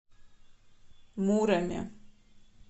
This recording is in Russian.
муроме